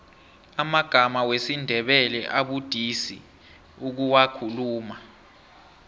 amagama wesindebele abudisi ukuwakhuluma